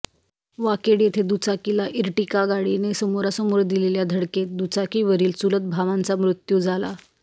वाकेड येथे दुचाकीला इरटिका गाडीने समोरासमोर दिलेल्या धडकेत दुचाकीवरील चुलत भावांचा मृत्यू झाला